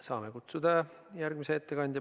Saame kutsuda järgmise ettekandja.